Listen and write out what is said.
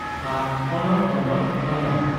"ᱟᱨ ᱚᱱᱚᱞ ᱛᱚᱱᱚᱞ" (ᱚᱱᱚᱞ) ᱾